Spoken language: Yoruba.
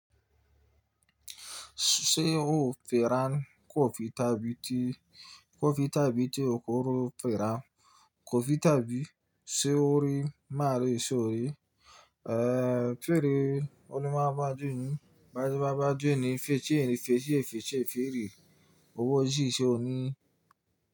Ṣé o fẹ́ran kò fi tàbí ti kò fi tàbí tí o kò rò fẹ́ran kò fi tàbí ṣe ò rí má rí ṣe ò rí, eh, fèrè olúmọ̀ bá jóni bá jọ bá jóni fèti èrí fèti èrí fèti èrí owó jí ṣe ò ní.